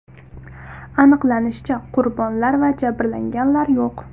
Aniqlanishicha, qurbonlar va jabrlanganlar yo‘q.